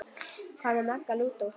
Hvað með Magga lúdó?